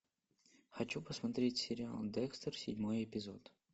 хочу посмотреть сериал декстер седьмой эпизод